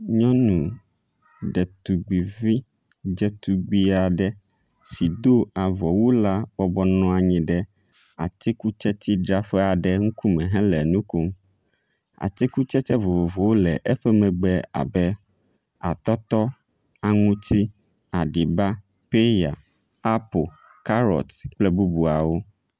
Nyɔnu ɖetugbivi ɖzetugbi aɖe si do avɔwu la bɔbɔ nɔ anyi ɖe atikutsetsidzraƒe aɖe ŋkume hele nu kom. Atikutsetse vovovowo le eƒe megbe abe atɔtɔ, aŋuti, aɖiba, peya, apo, karɔti kple bubuawo.